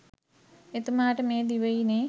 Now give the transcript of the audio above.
එතුමාට මේ දිවයිනේ